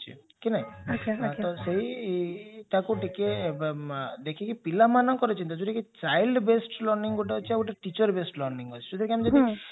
କି ନାଇଁ ଆଜ୍ଞା ଆଜ୍ଞା ତ ସେଇ ତାକୁ ଟିକେ ଦେଖିକି ପିଲାମାଙ୍କର ଚିନ୍ତା ଯାଉଟା କି child based learning ଗୋଟେ ଅଛି ଆଉ ଗୋଟେ teacher based learning ଅଛି ଯାଉଟା କି ଆମେ